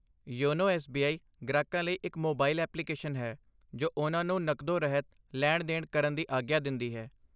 YONO SBI. ਗ੍ਰਾਹਕਾਂ ਲਈ ਇੱਕ ਮੋਬਾਈਲ ਐਪਲੀਕੇਸ਼ਨ ਹੈ ਜੋ ਉਹਨਾਂ ਨੂੰ ਨਕਦੋਂ ਰਹਿਤ ਲੈਣ ਦੇਣ ਕਰਨ ਦੀ ਆਗਿਆ ਦਿੰਦੀ ਹੈ